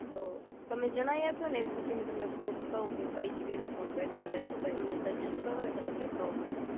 તો તમે જણાઈ આપો એ પછી ફૂડ કવ કે કઈ જગ્યા નું ફૂડ બેટર રહેશે, પઇ અમને સજેસ્ટ કરો એટલે કવ મેં